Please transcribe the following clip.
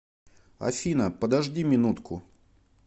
афина подожди минутку